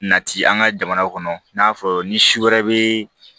Nati an ka jamana kɔnɔ i n'a fɔ ni si wɛrɛ be